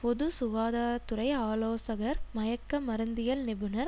பொது சுகாதார துறை ஆலோசகர் மயக்க மருந்தியல் நிபுணர்